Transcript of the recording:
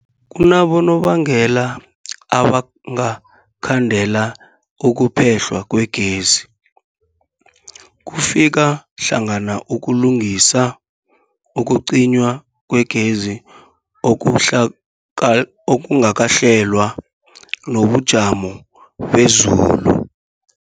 Kunabonobangela abangakhandela ukuphehlwa kwegezi, kufaka hlangana ukulungisa, ukucinywa kwegezi okuhlaga okungakahlelwa, nobujamo bezulu.